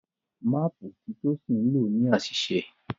Máàpù tí Tosin nlọ ní àṣìṣe.